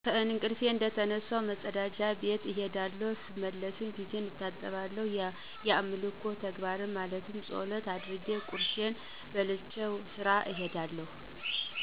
ከእንቀልፊ እንደተነሳሁ መጸዳጃ ቤት እሄዳለሁ ስመለስ ፊቴን ታጥቤ የአምልኮ ተግባር ማለት ጸሎት አድርጌ ቁርሴን በልቸወደ ስራ እሄዳለሁ።